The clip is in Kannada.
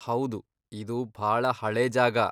ಹೌದು, ಇದು ಭಾಳ ಹಳೇ ಜಾಗ.